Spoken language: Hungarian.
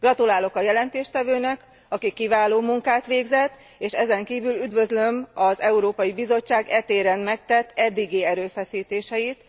Gratulálok az előadónak, aki kiváló munkát végzett, és ezenkívül üdvözlöm az Európai Bizottság e téren megtett eddigi erőfeszítéseit.